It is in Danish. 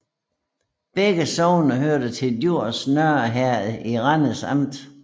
Begge sogne hørte til Djurs Nørre Herred i Randers Amt